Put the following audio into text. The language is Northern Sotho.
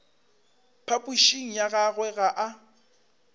phapošing ya gagwe ga a